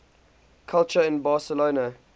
culture in barcelona